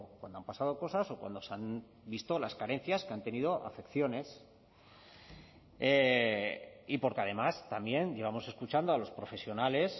cuando han pasado cosas o cuando se han visto las carencias que han tenido afecciones y porque además también llevamos escuchando a los profesionales